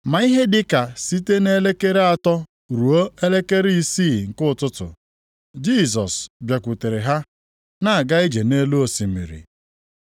Ma ihe dị ka site nʼelekere atọ ruo elekere isii nke ụtụtụ, Jisọs bịakwutere ha, na-aga ije nʼelu osimiri.